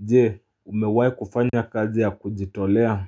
Jee umewahi kufanya kazi ya kujitolea